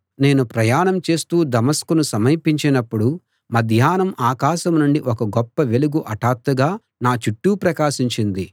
నేను ప్రయాణం చేస్తూ దమస్కును సమీపించినప్పుడు మధ్యాహ్నం ఆకాశం నుండి ఒక గొప్ప వెలుగు హఠాత్తుగా నా చుట్టూ ప్రకాశించింది